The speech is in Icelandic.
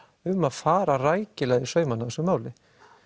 um að fara rækilega í saumana á þessu máli